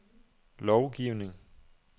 lovgivning